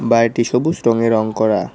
বাড়িটি সবুস রঙে রঙ করা।